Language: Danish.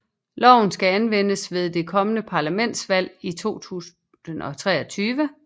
Loven skal anvendes ved det kommende parlamentsvalg i 2023